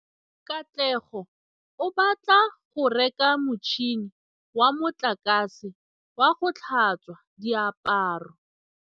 Katlego o batla go reka motšhine wa motlakase wa go tlhatswa diaparo.